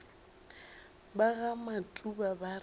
ba ga matuba ba re